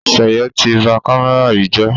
Seye tí bá kámẹ́rà yí jé